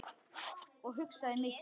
Og hugsaði mikið.